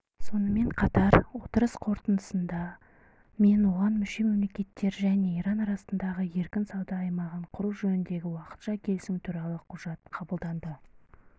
сонымен қатар отырыс қорытындысында мен оған мүше мемлекеттер және иран арасында еркін сауда аймағын құру жөніндегі уақытша келісім туралы құжат қабылданды